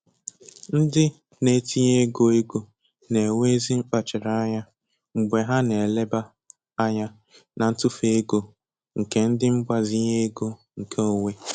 Ndị na-etinye ego ego na-enwe ezi mkpachara anya mgbe ha na-eleba ányá na ntufu ego nke ndi mgbazinye ego nke onwe.